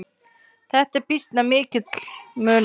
Þetta er býsna mikill munur.